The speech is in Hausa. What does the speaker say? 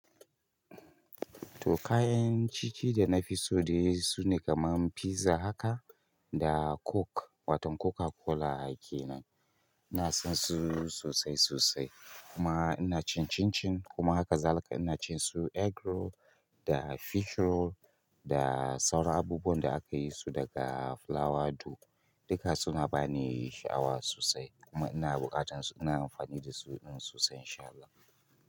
To kayan ciki da na fi so dai sune kaman pizza haka da coke watan Coca-Cola kenan. Ina son su sosai sosai kuma ina cin chinchin kuma haka zalika in cin su eggroll da fish roll da sauran abubuwan da aka yi su daga flour du duka suna bani sha'awa sosai kuma ina buƙatan su ina amfani da su sosai in sha Allah.